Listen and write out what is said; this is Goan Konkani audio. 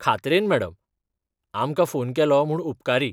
खात्रेन, मॅडम. आमकां फोन केलो म्हूण उपकारी.